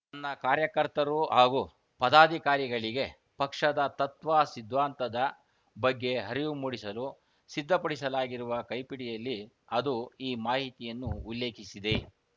ತನ್ನ ಕಾರ್ಯಕರ್ತರು ಹಾಗೂ ಪದಾಧಿಕಾರಿಗಳಿಗೆ ಪಕ್ಷದ ತತ್ವಸಿದ್ಧಾಂತದ ಬಗ್ಗೆ ಅರಿವು ಮೂಡಿಸಲು ಸಿದ್ಧಪಡಿಸಲಾಗಿರುವ ಕೈಪಿಡಿಯಲ್ಲಿ ಅದು ಈ ಮಾಹಿತಿಯನ್ನು ಉಲ್ಲೇಖಿಸಿದೆ